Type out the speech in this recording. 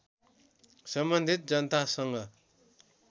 सम्बन्धित जनतासँग